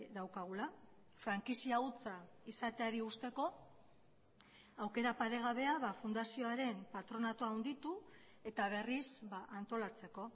daukagula frankizia hutsa izateari uzteko aukera paregabea fundazioaren patronatua handitu eta berriz antolatzeko